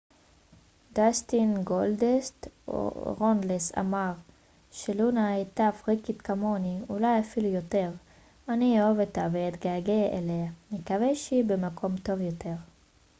דאסטין גולדאסט רונלס אמר ש לונה הייתה פריקית כמוני אולי אפילו יותר אני אוהב אותה ואתגעגע אליה נקווה שהיא במקום טוב יותר